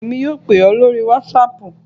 Bẹ́ẹ̀ni, èmi yóò pè ọ́ lórí whatsapp